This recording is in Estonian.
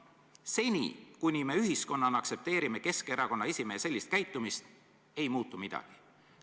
Seni kuni me ühiskonnana aktsepteerime Keskerakonna esimehe sellist käitumist, ei muutu midagi.